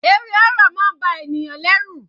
Eré horror máa ń ba ènìyàn lẹ́rù.